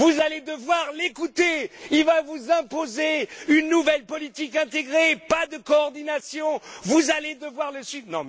Vous allez devoir l'écouter, il va vous imposer une nouvelle politique intégrée, pas de coordination, vous allez devoir le suivre...